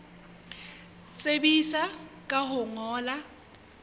tsebisa ka ho o ngolla